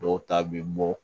Dɔw ta bɛ bɔ